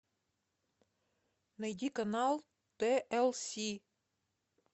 найди канал тлс